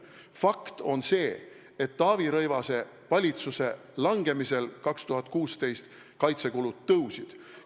Fakt on see, et Taavi Rõivase valitsuse langemisel 2016 kaitsekulud kasvasid.